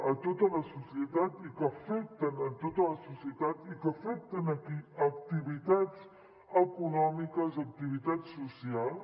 a tota la societat que afecten tota la societat i que afecten activitats econòmiques activitats socials